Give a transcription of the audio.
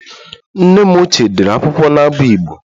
Nne m ochie dere akwụkwọ n'abụ Igbo